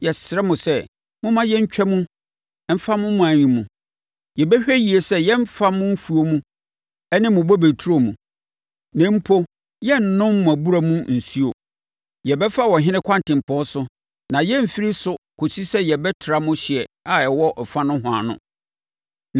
Yɛsrɛ mo sɛ, momma yɛntwa mu mfa mo ɔman yi mu. Yɛbɛhwɛ yie sɛ yɛremfa mo mfuo ne mo bobe nturo mu. Na mpo, yɛrennom mo abura mu nsuo. Yɛbɛfa ɔhene kwantempɔn so na yɛremfiri so kɔsi sɛ yɛbɛtra mo hyeɛ a ɛwɔ ɛfa nohoa no.”